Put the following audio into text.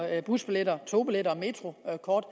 busbilletter togbilletter og metrokort